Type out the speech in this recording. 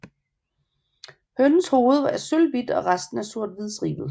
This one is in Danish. Hønens hoved er sølvhvidt og resten er sorthvidstribet